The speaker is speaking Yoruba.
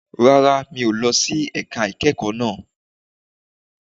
Rárá, mi ò lọ sí ẹ̀ka ìkẹ́kọ̀ọ́ náà